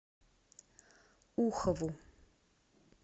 ухову